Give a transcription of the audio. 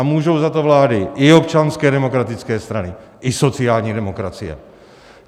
A můžou za to vlády i Občanské demokratické strany, i sociální demokracie.